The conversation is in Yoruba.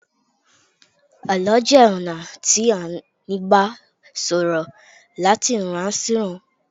àlọ jé ona ti a n gba sọ ọrọ lati ìran sí iran